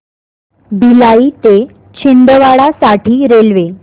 भिलाई ते छिंदवाडा साठी रेल्वे